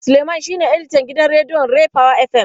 Suleiman shine editan gidan rediyon Ray power FM.